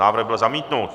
Návrh byl zamítnut.